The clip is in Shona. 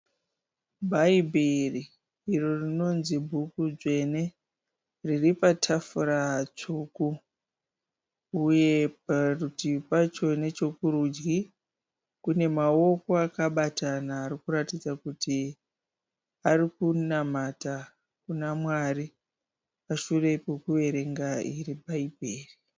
Bhaibheri iro rinonzi bhuku dzvene, riri patafura dzvuku uye, parutivi pacho nechekurudyi kune maoko akabatana achiratidza kuti ari kunamata kuna Mwari pashure pekuvera iro Bhaibheri.